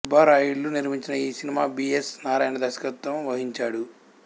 సుబ్బారాయుడులు నిర్మించిన ఈ సినిమకు బి ఎస్ నారాయణ దర్శకత్వం వహించాడు